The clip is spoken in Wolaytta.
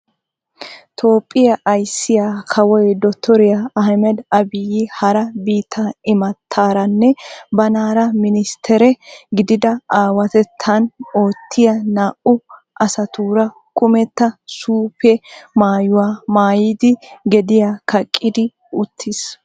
Toophphiyaa ayssiyaa kawoy Dotoria Ahimed Abiyi hara biittaa imattaranne banaara ministere gididi awattettan oottiya naa"u astuura kummetta suufe maayuwaa maayidi gediyaa kaqqidi uttiis.